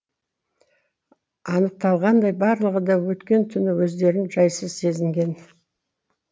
анықталғандай барлығы да өткен түні өздерін жайсыз сезінген